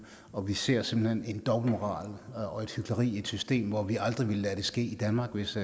og vi ser simpelt hen en dobbeltmoral og et hykleri i et system og vi aldrig lade ske i danmark hvis